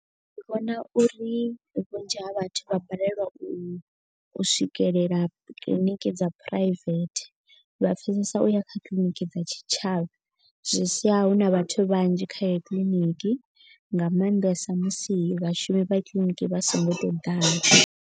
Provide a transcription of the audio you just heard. Ndi vhona uri vhunzhi ha vhathu vha balelwa u swikelela kiḽiniki dza private. Vha pfesesa u ya kha kiḽiniki dza tshitshavha. Zwi sia hu na vhathu vhanzhi kha ye kiḽiniki nga maanḓesa musi vhashumi vha kiḽiniki vha so ngo to ḓala.